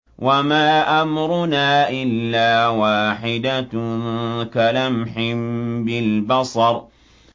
وَمَا أَمْرُنَا إِلَّا وَاحِدَةٌ كَلَمْحٍ بِالْبَصَرِ